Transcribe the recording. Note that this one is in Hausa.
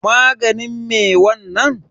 Maganin me wannan?